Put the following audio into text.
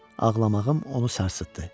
Ağlamağım onu sarsıtdı.